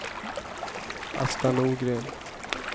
Asta Norgren